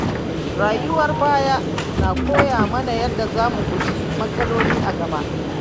Rayuwar baya na koya mana yadda za mu guji matsaloli a gaba.